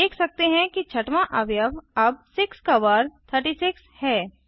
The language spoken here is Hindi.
हम देखते हैं कि छठवां अवयव अब 6 का वर्ग 36 है